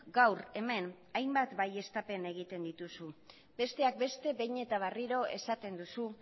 gaur hemen hainbat baieztapen egiten dituzu besteak beste behin eta berriro esaten duzu